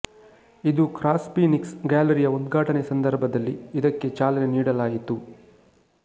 ಇದು ಕ್ರಾಸ್ಫೀನಿಕ್ಸ್ ಗ್ಯಾಲರಿಯ ಉದ್ಘಾಟನೆ ಸಂದರ್ಭದಲ್ಲಿ ಇದಕ್ಕೆ ಚಾಲನೆ ನೀಡಲಾಯಿತು